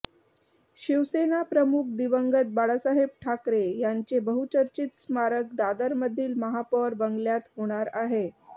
शिवसेना प्रमुख दिवंगत बाळासाहेब ठाकरे यांचे बहुचर्चित स्मारक दादरमधील महापौर बंगल्यात होणार आहे